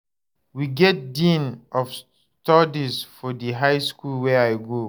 We get dean of studies for di high skool wey I go.